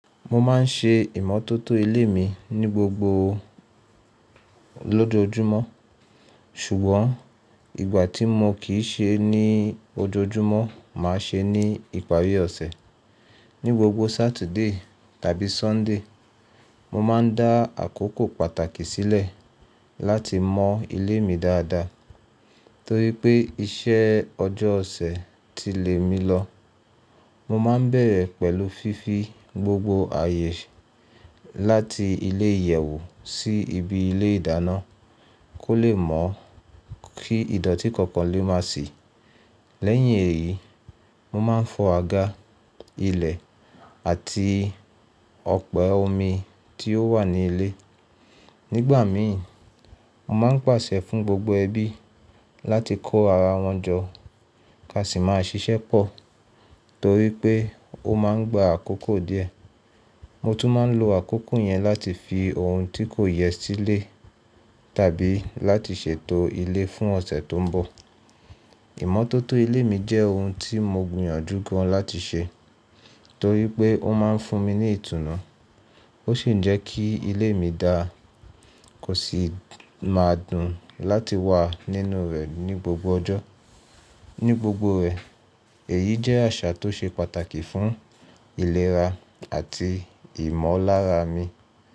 Mo má n ṣe ìmótótó ilé mi ní gbogbo lójoójúmọ́. Ṣùgbọ́n ìgbà tí mo kì í ṣe ní ojoojúmọ́, màá ṣe ní ìparí ọ̀sẹ̀. Ní gbogbo Saturday tàbí Sunday, mo má n dá àkókò pàtàkì sílẹ̀ láti mọ ilé mi dáadáa torí pé iṣẹ́ ọjọ́ ọ̀sẹ̀ ti lé mi lọ. Mo má n bẹ̀rẹ̀ pẹ̀lú fífi gbogbo ààyè láti ilé ìyẹ̀wù sí ibi ilé ìdáná kó lè mọ̀ kí ìdọ̀tí kankan lè má sì. Lẹ́yìn èyí, mo má n fọ àga, ilẹ̀ àti ọ̀pẹ omi tí ó wà ní ilé. Nígbà mi, mo má n pàṣẹ fún gbogbo ẹbí láti kó ara wọn jọ ká sì má ṣiṣẹ́ pọ̀ torí pé ó má n gba àkókò díẹ̀. Mo tún má n lo àkókò yẹn láti fi ohun tí kò yẹ sílé tàbí láti ṣètò ilé fún ọ̀sẹ̀ tó n bọ̀. Ìmọ́tótó ilé mi jẹ́ ohun tí mo gbìyànjú gan láti ṣe torí pé ó má n fún mi ní ìtùnú. Ó sì ń jẹ́ kí ilé mi dáa kó sì máa dùn láti wà nínú rẹ̀ ní gbogbo ọjọ́. Ní gbogbo rẹ̀ èyí jẹ́ àṣà tó ṣe pàtàkì fún ìlera àti ìmọ̀lára mi.